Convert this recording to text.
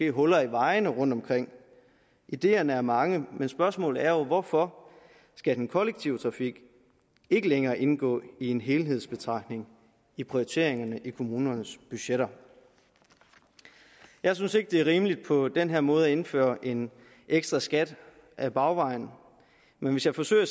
huller i vejene rundtomkring ideerne er mange men spørgsmålet er hvorfor den kollektive trafik ikke længere skal indgå i en helhedsbetragtning i prioriteringerne i kommunernes budgetter jeg synes ikke det er rimeligt på den her måde at indføre en ekstra skat ad bagvejen men hvis jeg forsøger at